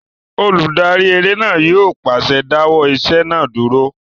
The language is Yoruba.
Olùdarí eré náà yóò pàṣẹ "dáwọ́ ìṣe náà dúró!"